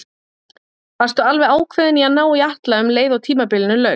Varstu alveg ákveðinn í að ná í Atla um leið og tímabilinu lauk?